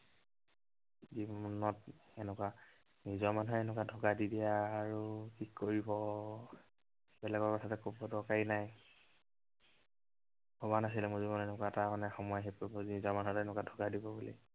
জীৱনত এনেকুৱা নিজৰ মানুহেই এনেকুৱা ধৌকা দি দিয়ে আৰু কি কৰিব। বেলেগৰ কথাটো কবৰ দৰকাৰেই নাই। ভবা নাছিলো মোৰ জীৱনত এনেকুৱা এটা মানে সময় আহি পৰিব, নিজৰ মানুহেই এনেকুৱা ধৌকা দিব বুলি।